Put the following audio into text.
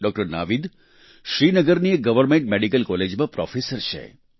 doctor Naveed શ્રીનગરની એક government medical કોલેજમાં પ્રોફેસર છે